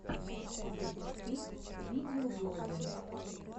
запусти видеоблоги